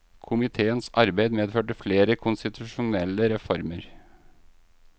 Komiteens arbeid medførte flere konstitusjonelle reformer.